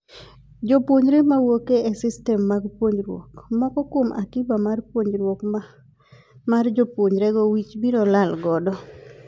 Jopuonjre mawuok e systems mag puonjruok ,moko kuom akiba mar puonjruok mar jopuonjre go wich biro lal godo.